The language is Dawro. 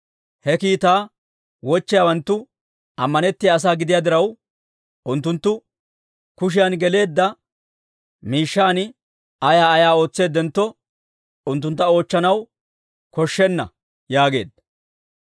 He kiitaa wochchiyaawanttu ammanettiyaa asaa gidiyaa diraw, unttunttu kushiyan geleedda miishshan ayaa ayaa ootseeddentto, unttuntta oochchanaw koshshenna» yaageedda.